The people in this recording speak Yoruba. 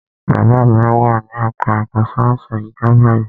Bàbá mi wà ní ẹka ẹ̀kọ́ sáyẹnsì àyíká báyìí.